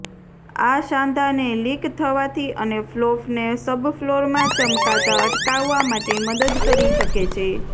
આ સાંધાને લીક થવાથી અને ફ્લોફને સબફ્લોરમાં ચમકાતા અટકાવવા માટે મદદ કરી શકે છે